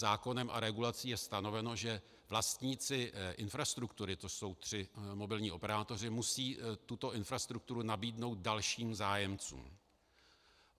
Zákonem a regulací je stanoveno, že vlastníci infrastruktury, to jsou tři mobilní operátoři, musí tuto infrastrukturu nabídnout dalším zájemcům.